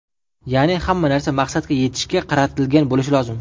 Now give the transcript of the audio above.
Ya’ni, hamma narsa maqsadga yetishga qaratilgan bo‘lishi lozim.